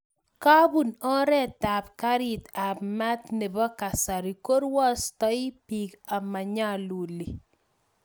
kobon oret ab garit ab mat nebo kasari ko rwaostoi piik amanyaluli